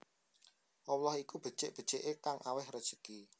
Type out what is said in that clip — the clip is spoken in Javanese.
Allah iku becik beciké kang awèh rejeki